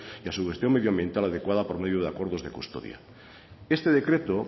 y a su gestión medioambiental adecuada por medio de acuerdos de custodia este decreto